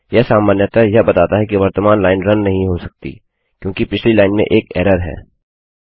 यह सामान्यतः यह बताता है कि वर्तमान लाइन रन नहीं हो सकती क्योंकि पिछली लाइन में एक एरर है